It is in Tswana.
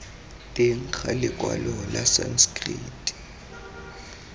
teng ga lekwalo la sanskrit